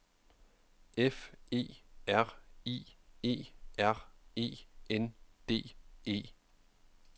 F E R I E R E N D E